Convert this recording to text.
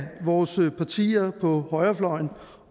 vores partier på højrefløjen